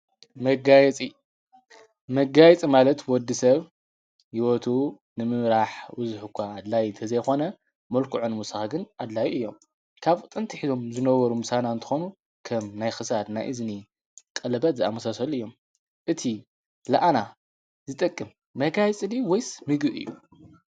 መጋይጽ ማለት ወዲ ሰብ ይወቱ ንምምራሕ ውዙኅ እኳ ኣድላይ ተዘይኾነ መልኩዕን ሙስኻግን ኣድላዩ እዮም ካብኡ ጥንቲ ኂቶም ዝነበሩ ምሳና እንተኾኑ ከም ናይ ክሳድ ናእዝኒ ቀልበት ዝኣመሰሰሉ እዮም እቲ ለኣና ዝጠቅም መጋይጽሊ ወይስ ሚጉ እዩ።